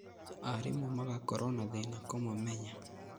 Aarimũ magakorwo na thĩna kũmamenya